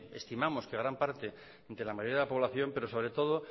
estimamos que en gran parte de la mayoría de la población pero sobre todo